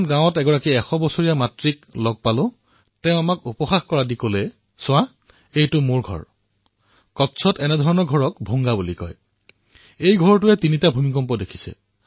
তাতে মই ১০০ত কৈও অধিক বয়সৰ এক মাতৃক লগ পালো আৰু তেওঁ মোলৈ চাই উপহাস কৰি কলে চোৱা এইখন মোৰ ঘৰ কচ্ছত ইয়াক ভুংগা বুলি কোৱা হয় মোৰ এই ঘৰে ৩৩টা ভূমিকম্প দেখিছে